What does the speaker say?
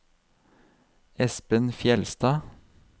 Espen Fjellstad